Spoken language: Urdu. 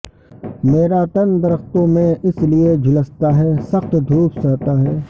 میرا تن درختوں میں اس لیے جھلستا ھے سخت دھوپ سہتا ھے